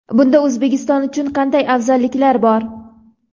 Bunda O‘zbekiston uchun qanday afzalliklar bor?.